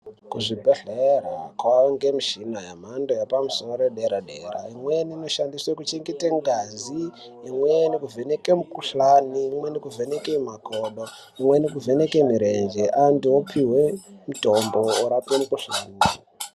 Kuzvibhedhlera kwakuwanikwa michini yepamusoro yedera dera imweni inoshandiswa kuchengeta ngazi imweni kuvheneka mikuhlani imweni kuvheneka makodo imweni kuvhenaj mirenje antu opihwe mitombo orapika mukuhlani.